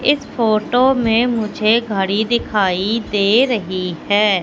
इस फोटो में मुझे घड़ी दिखाई दे रही है।